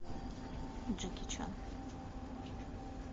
джеки чан